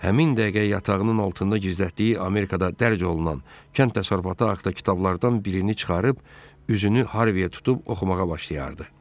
Həmin dəqiqə yatağının altında gizlətdiyi Amerikada dərc olunan kənd təsərrüfatı haqda kitablardan birini çıxarıb üzünü Harveyə tutub oxumağa başlayardı.